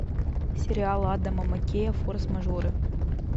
сериал адама маккея форс мажоры